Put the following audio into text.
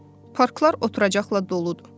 Parklar oturacaqla doludur.